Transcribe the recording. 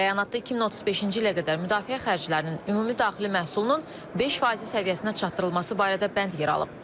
Bəyanatda 2035-ci ilə qədər müdafiə xərclərinin ümumi daxili məhsulunun 5 faizi səviyyəsinə çatdırılması barədə bənd yer alıb.